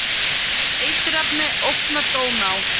Eiturefni ógna Dóná